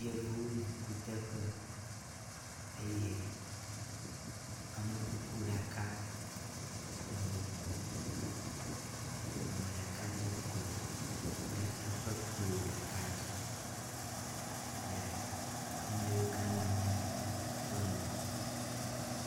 Yevuwo le kuteƒe eye amekuku ɖaka le wo gbɔ. Ame ɖeka dze klo ɖe eƒe klo ɖeka dzi le ame yiwo ke nɔ anyi ɖe eƒe ŋgɔ.